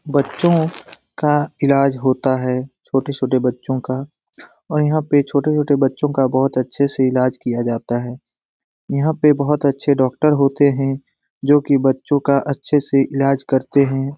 बच्चों का इलाज होता है। छोटे छोटे बच्चों का और यहाँ पे छोटे छोटे बच्चों का बहुत अच्छे से इलाज किया जाता है। यहाँ पे बहुत अच्छे डॉक्टर होते हैं जो की बच्चों का अच्छे से इलाज करते हैं।